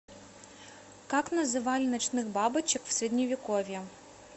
как называли ночных бабочек в средневековье